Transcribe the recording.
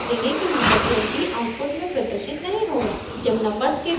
शीघ्र ही आप देखेंगे कि नंबर 20 आउटपुट में प्रदर्शित नहीं होगा